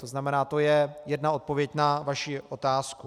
To znamená, to je jedna odpověď na vaši otázku.